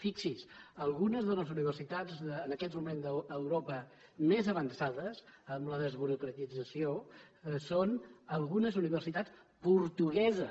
fixi’s algunes de les universitats en aquest moment a europa més avançades en la desburocratització són algunes universitats portugueses